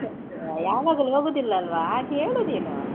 ಯಾವಾಗ್ಲೂ ಹೋಗುದಿಲ್ವಲ್ವಾ ಹಾಗೆ ಹೇಳು ನೀನು.